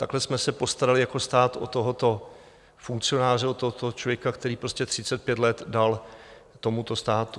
Takhle jsme se postarali jako stát o tohoto funkcionáře, o tohoto člověka, který prostě 35 let dal tomuto státu.